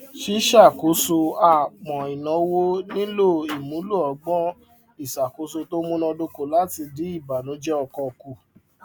ṣíṣàkóso àápọn ináwó nílò ìmúlò ọgbọn ìṣàkóso tó munadoko láti dín ìbànújẹ ọkàn kù